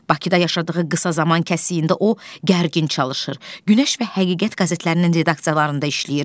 Bakıda yaşadığı qısa zaman kəsiyində o gərgin çalışır, Günəş və Həqiqət qəzetlərinin redaksiyalarında işləyir.